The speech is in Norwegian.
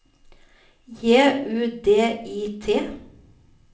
J U D I T